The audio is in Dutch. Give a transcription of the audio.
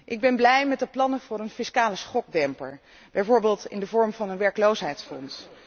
Ik ben blij met de plannen voor een fiscale schokdemper, bijvoorbeeld in de vorm van een werkloosheidsfonds.